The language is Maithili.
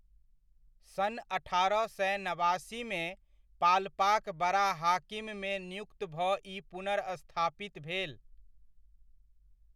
सन् अठारह सए नबासीमे, पाल्पाक बडाहाकिममे नियुक्त भऽ ई पुनर्स्थापित भेल।